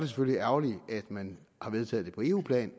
selvfølgelig ærgerligt at man har vedtaget det på eu plan